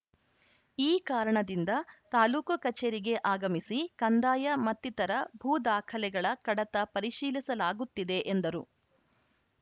ಈ ಕಾರಣದಿಂದ ತಾಲೂಕು ಕಚೇರಿಗೆ ಆಗಮಿಸಿ ಕಂದಾಯ ಮತ್ತಿತರ ಭೂದಾಖಲೆಗಳ ಕಡತ ಪರಿಶೀಲಿಸಲಾಗುತ್ತಿದೆ ಎಂದರು